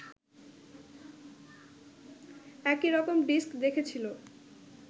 একই রকম ডিস্ক দেখেছিল